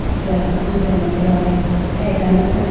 acha jutene dewayi aya akanotane git.